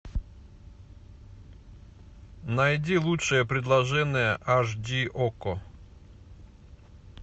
найди лучшее предложение айч ди окко